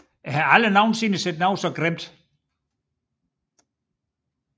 Jeg har aldrig nogensinde set noget så grimt